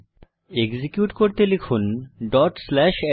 execute করতে লিখুন dot slash আরায়